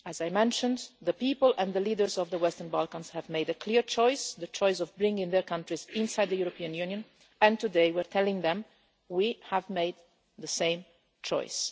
As I mentioned, the people and the leaders of the Western Balkans have made a clear choice the choice of bringing their countries inside the European Union and today we are telling them that we have made the same choice.